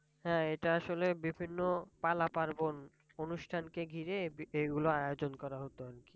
হ্যাঁ এটা আসলে বিভিন্ন পালা পার্বন অনুষ্ঠান কে ঘিরে এগুলো আয়জন করা হত আর কি।